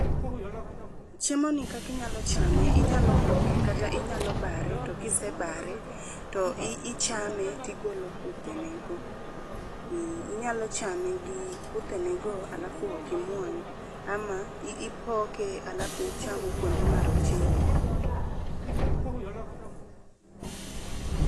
Chiemoni kaka inyalo chame, inyalo poke , kata inyalo bare to ka isebare to ichame to igolo kuthe ne go. Eh inyalo chame gi kuthenego alafu ok imuony ama ipoke alafu ichamo kuonde marochere go pause.